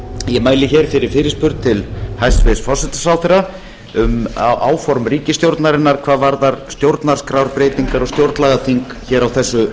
ég mæli hér fyrir fyrirspurn til hæstvirts forsætisráðherra um áform ríkisstjórnarinnar hvað varðar stjórnarskrárbreytingar og stjórnlagaþing hér á þessu